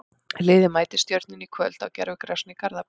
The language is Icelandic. Liðið mætir Stjörnunni í kvöld á gervigrasinu í Garðabæ.